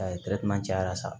cayara sa